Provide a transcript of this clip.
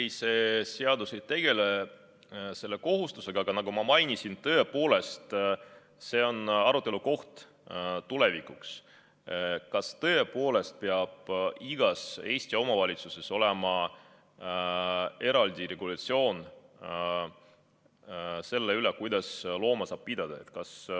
Ei, see seaduseelnõu ei tegele selle kohustusega, aga nagu ma mainisin, see on arutelu koht tulevikuks, kas tõepoolest peab igas Eesti omavalitsuses olema eraldi regulatsioon selle kohta, kuidas looma saab pidada.